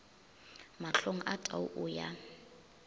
mahlong a tau o ya